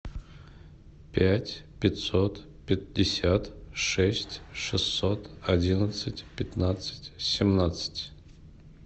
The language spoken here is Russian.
пять пятьсот пятьдесят шесть шестьсот одиннадцать пятнадцать семнадцать